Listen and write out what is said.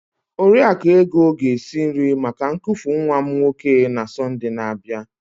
Oriakụ Ego ga-esi nri maka ñnkufu nwa m nwoke na Sọnde na-abịa.